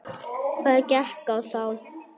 Hvað gekk á þá?